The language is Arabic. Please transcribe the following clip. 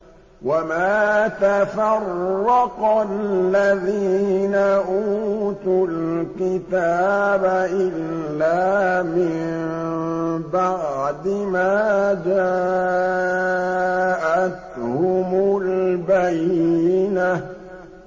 وَمَا تَفَرَّقَ الَّذِينَ أُوتُوا الْكِتَابَ إِلَّا مِن بَعْدِ مَا جَاءَتْهُمُ الْبَيِّنَةُ